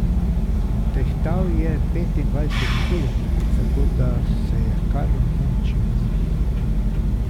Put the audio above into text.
Tehtal je petindvajset kil, tako da se je kar mučil z njim.